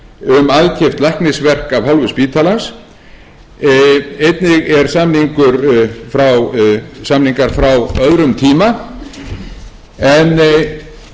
um aðkeypt læknisverk af hálfu spítalans einnig eru samningar frá öðrum tíma en athugun leiðir í ljós að samtals fengu tuttugu og sjö sérfræðingar greitt samkvæmt